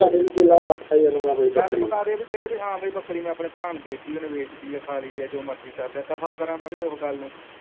ਗੱਲ ਮੁਕਾਦੇ ਬੀ ਕਿਹੇ ਬੀ ਹਾਂ ਬੀ ਬੱਕਰੀ ਮੈ ਆਪਣੇ ਭਰਾ ਨੂੰ ਦੇਤੀ ਆ ਉਹਨੇ ਵੇਚਤੀ ਆ ਖਾਲੀ ਆ ਜੋ ਮਰਜ਼ੀ ਕਰਲਿਆ ਦਫ਼ਾ ਕਰਾ ਮੈ ਵੀ ਉਹ ਗੱਲ ਨੂੰ